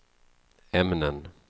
ämnen